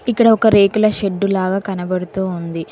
ఇక్కడ ఒక రేకుల షెడ్డు లాగా కనబడుతూ ఉంది.